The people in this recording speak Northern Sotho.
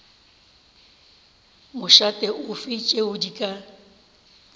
mošate ofe tšeo di ka